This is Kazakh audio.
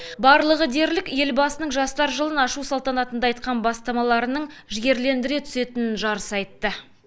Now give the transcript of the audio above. барлығы дерлік елбасының жастар жылын ашу салтанатында айтқан бастамаларының жігерлендіре түсетінін жарыса айтты